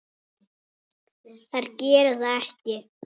Þær gera það ekki.